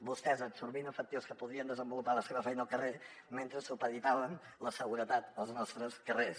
vostès absorbint efectius que podrien desenvolupar la seva feina al carrer mentre supeditaven la seguretat als nostres carrers